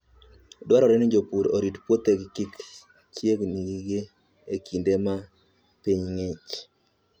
Dwarore ni jopur orit puothegi kik chieg-gi e kinde ma piny ng'ich.